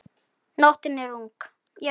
Nóttin er ung